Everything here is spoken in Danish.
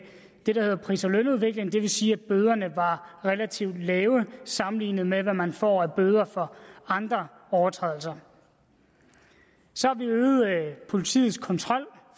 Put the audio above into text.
det der hedder pris og lønudvikling det vil sige at bøderne var relativt lave sammenlignet med hvad man får af bøder for andre overtrædelser så har vi øget politiets kontrol